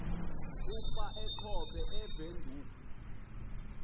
ukuba achophe ewindhoek